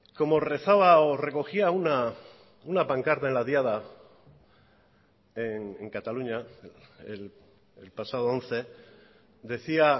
como rezaba o recogía una pancarta en la diada en cataluña el pasado once decía